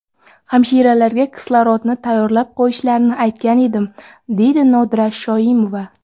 Hamshiralarga kislorodni tayyorlab qo‘yishlarini aytgandim, deydi Nodira Shoimova.